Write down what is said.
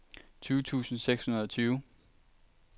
tyve tusind seks hundrede og tyve